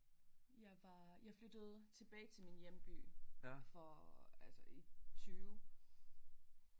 Jeg var jeg flyttede tilbage til min hjemby for altså i 20